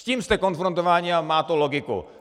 S tím jste konfrontováni a má to logiku.